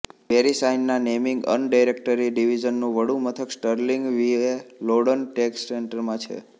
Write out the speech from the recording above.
વેરિસાઇનના naming and directory ડિવીઝનનું વડુમથક Sterling VA Loudoun tech સેન્ટરમાં છે